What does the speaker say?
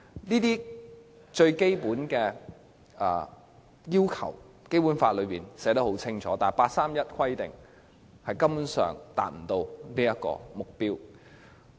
這些最基本的要求，《基本法》均已寫得很清楚，但八三一方案根本不能夠達到這目標。